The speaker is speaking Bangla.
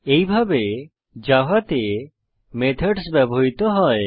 এইভাবে জাভাতে মেথডস ব্যবহৃত হয়